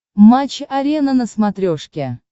матч арена на смотрешке